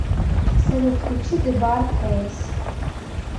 салют включи зэ бар кэйс